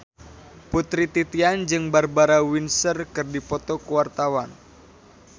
Putri Titian jeung Barbara Windsor keur dipoto ku wartawan